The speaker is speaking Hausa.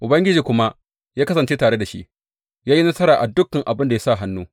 Ubangiji kuma ya kasance tare da shi, ya yi nasara a duk abin da ya sa hannu.